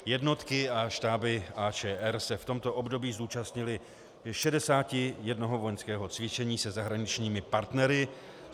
Jednotky a štáby AČR se v tomto období zúčastnily 61 vojenského cvičení se zahraničními partnery.